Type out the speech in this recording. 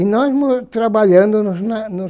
nós trabalhando nos na nos